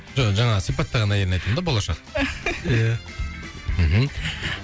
жоқ жаңағы сипаттаған әйелін айтам да болашақ ия мхм